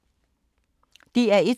DR1